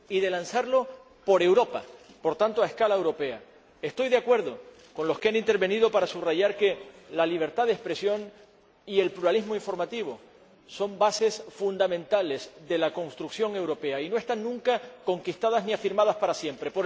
Y de lanzarlo por Europa, por tanto, a escala europea. Estoy de acuerdo con los que han intervenido para subrayar que la libertad de expresión y el pluralismo informativo son bases fundamentales de la construcción europea y no están nunca conquistadas ni afirmadas para siempre.